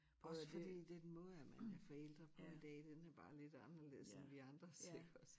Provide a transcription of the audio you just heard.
Også fordi den måde at man er forældre på i dag den er bare lidt anderledes end vi andres iggås